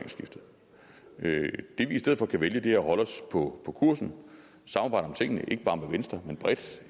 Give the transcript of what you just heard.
vi i stedet for kan vælge er at holde os på kursen samarbejde om tingene ikke bare med venstre men bredt